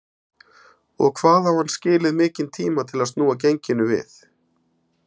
Og hvað á hann skilið mikinn tíma til að snúa genginu við?